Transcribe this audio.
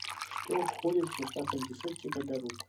что входит в состав антисептика для рук